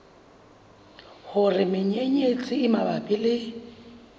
hore menyenyetsi e mabapi le